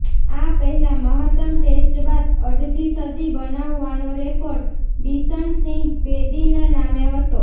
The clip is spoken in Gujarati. આ પહેલા મહત્તમ ટેસ્ટ બાદ અડધી સદી બનાવવાનો રેકોર્ડ બિશનસિંહ બેદીના નામે હતો